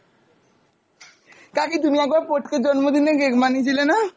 কাকি তুমি একবার পোটকের জন্মদিনে cake বানিয়েছিলে না!